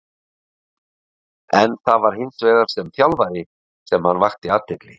En það var hins vegar sem þjálfari sem hann vakti athygli.